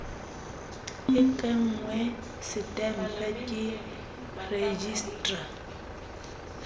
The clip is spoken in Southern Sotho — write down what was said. e kengwe setempe ke rejistra